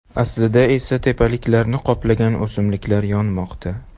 Aslida esa tepaliklarni qoplagan o‘simliklar yonmoqda.